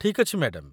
ଠିକ୍ ଅଛି, ମ୍ୟାଡାମ୍